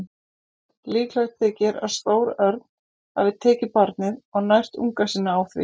Líklegt þykir að stór örn hafi tekið barnið og nært unga sína á því.